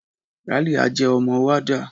Ralia jẹ́ ọmọ warder.